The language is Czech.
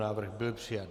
Návrh byl přijat.